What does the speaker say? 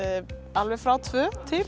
alveg frá tvö til